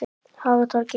Hagatorgi